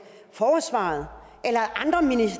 forsvaret eller